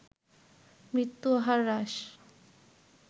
মৃত্যু হার হ্রাস